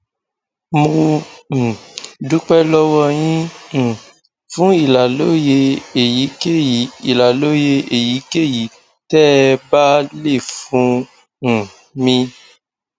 mo um dúpẹ lọwọ yín um fún ìlàlóye èyíkéyìí ìlàlóye èyíkéyìí tẹ ẹ bá lè fún um mi